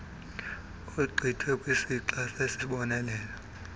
ogqithe kwisixa esisisibonelelo